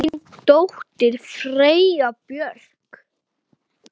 Þín dóttir, Freyja Björk.